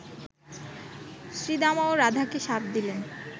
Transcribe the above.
শ্রীদামাও রাধাকে শাপ দিলেন